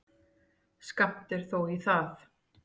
Skammt er þó í það.